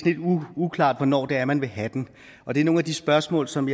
uklart hvornår det er man vil have den og det er nogle af de spørgsmål som